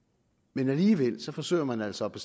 men alligevel forsøger man altså